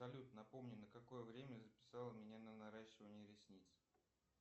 салют напомни на какое время записала меня на наращивание ресниц